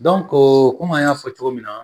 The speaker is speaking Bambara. kɔmi an y'a fɔ cogo min na